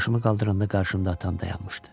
Başımı qaldıranda qarşımda atam dayanmışdı.